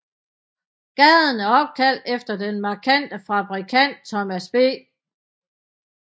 Gaden er opkaldt efter den markante fabrikant Thomas B